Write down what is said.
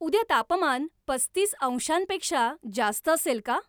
उद्या तापमान पस्तीस अंशांपेक्षा जास्त असेल का?